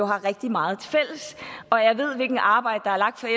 har rigtig meget tilfælles og jeg ved hvilket arbejde der er lagt